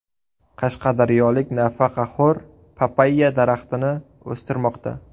Qashqadaryolik nafaqaxo‘r papayya daraxtini o‘stirmoqda.